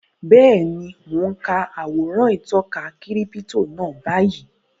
Bẹ́ẹ̀ni, mo n ka àwòrán ìtọka kírípítò náà báyìí